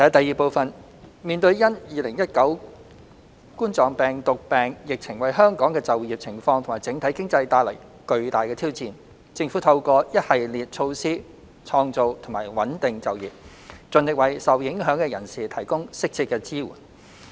二面對因2019冠狀病毒病疫情為香港的就業情況及整體經濟帶來巨大的挑戰，政府透過一系列措施創造及穩定就業，盡力為受影響的人士提供適切支援。